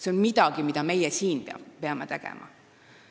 See on midagi, mida meie siin peaksime tegema.